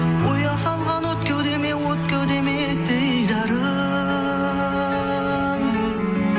ұя салған от кеудеме от кеудеме дидарың